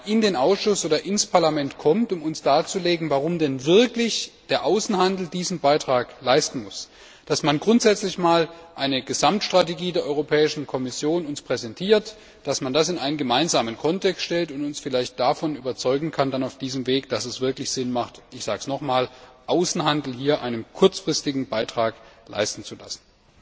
in den Ausschuss oder ins Parlament kommt, um uns darzulegen, warum denn der Außenhandel diesen Beitrag leisten muss, dass man uns grundsätzlich eine Gesamtstrategie der Europäischen Kommission präsentiert, dass man das in einen gemeinsamen Kontext stellt und uns vielleicht auf diesem Weg davon überzeugt, dass es wirklich sinnvoll ist ich sage es nochmals den Außenhandel hier einen kurzfristigen Beitrag leisten zu lassen.